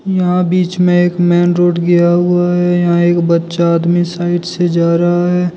यहां बीच में एक मेन रोड गया हुआ है यहां एक बच्चा आदमी साइड से जा रहा है।